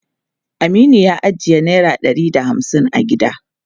Aminu ya ajiye naira ɗari da hamsin a gida.